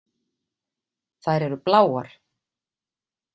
Þær eru bláar.